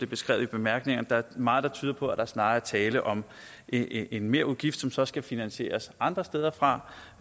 beskrevet i bemærkningerne der er meget der tyder på at der snarere er tale om en merudgift som så skal finansieres andre steder fra